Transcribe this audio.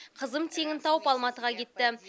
қызым теңін тауып алматыға кетті